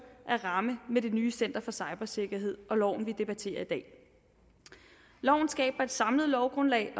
at ramme med det nye center for cybersikkerhed og loven vi debatterer i dag loven skaber et samlet lovgrundlag